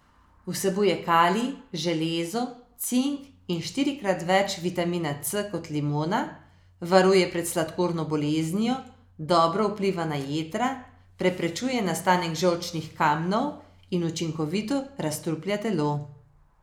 Vsebuje kalij, železo, cink in štirikrat več vitamina C kot limona, varuje pred sladkorno boleznijo, dobro vpliva na jetra, preprečuje nastanek žolčnih kamnov in učinkovito razstruplja telo.